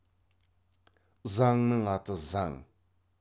заңның аты заң